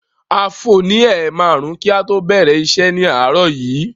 A fò ní ẹ̀ márùn-ún kí a tó bẹ̀rẹ̀ iṣẹ́ ni àárọ̀ yìí.